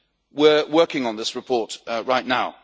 We are working on this report right now.